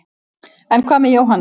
en hvað með jóhannes